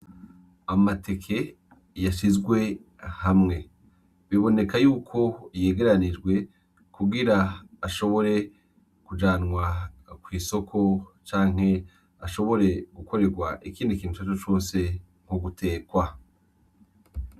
Amateke yashizwe hamwe, biboneka yuko yegeranijwe kugira ashobore kujanwa kw'isoko canke ashobore gukoregwa ikindi kintu icarico cose nk'ugutegwa.